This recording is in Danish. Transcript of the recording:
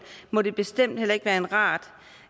må det bestemt heller ikke være rart